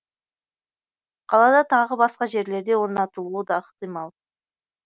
қалада тағы басқа жерлерде орнатылуы да ықтимал